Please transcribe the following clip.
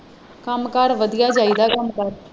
ਕੰਮ ਕਾਰ ਵਧੀਆ ਜਾਈਦਾ ਹੈ ਕੰਮ ਕਾਰ।